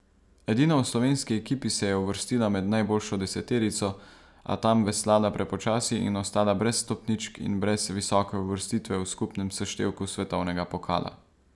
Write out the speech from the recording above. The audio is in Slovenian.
Edina v slovenski ekipi se je uvrstila med najboljšo deseterico, a tam veslala prepočasi in ostala brez stopničk in brez visoke uvrstitve v skupnem seštevku svetovnega pokala.